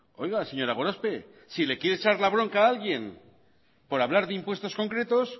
oiga señora gorospe si le quiere echar la bronca a alguien por hablar de impuestos concretos